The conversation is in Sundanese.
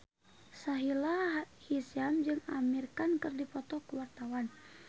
Sahila Hisyam jeung Amir Khan keur dipoto ku wartawan